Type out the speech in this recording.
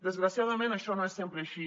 desgraciadament això no és sempre així